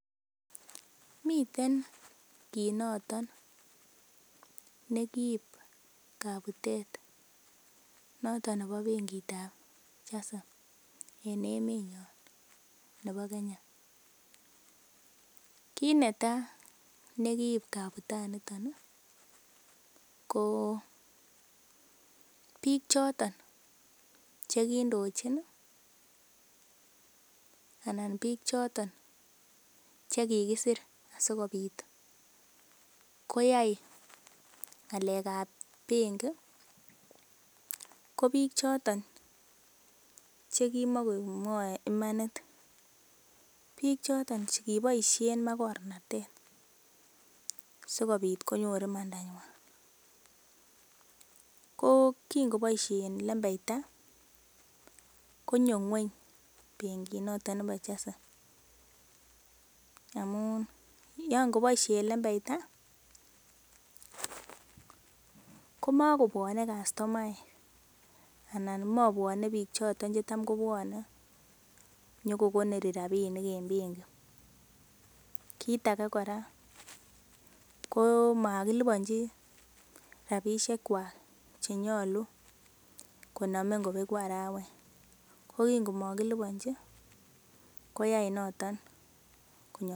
Miten kit noton ne kiib kabutet noton nebo benkit ab Chase en emenyon nebo Kenya. Kit netaa nekiib kabutaniton ko biik choton chekindochin anan biik choton chekikisir asikobit koyai ng'alek ab benki ko biik choton chekimokomwoe imanit biik choton chekiboisien makornatet sikobit konyor imandanywan ko kin koboisien imanda konyo ng'weny benkit noton nebo Chase amu yaa ngoboisyen lembeita komakobwone kastomaek anan mabwone biik choton chetam kobwone nyokokonori rapinik en benki kit age kora komakiliponji rapisiek kwak chenyolu konome ngobeku arawet ko kin komakiliponji koyai noton ko